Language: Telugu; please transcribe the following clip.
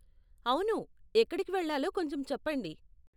అవును, ఎక్కడికి వెళ్ళాలో కొంచెం చెప్పండి.